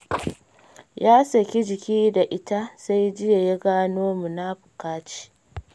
Ya saki jiki da ita, sai jiya ya gano munafuka ce.